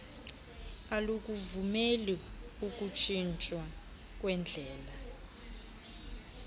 alukuvumeli ukutshintshwa kwendlela